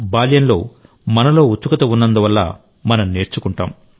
బాల్యంలో మనలో ఉత్సుకత ఉన్నందు వల్ల మనం నేర్చుకుంటాం